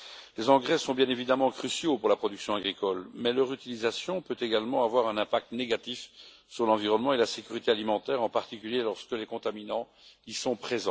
Les engrais sont bien évidemment cruciaux pour la production agricole, mais leur utilisation peut également avoir un impact négatif sur l'environnement et la sécurité alimentaire, en particulier lorsqu'ils renferment des contaminants.